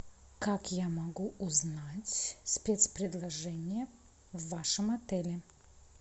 как я могу узнать спецпредложения в вашем отеле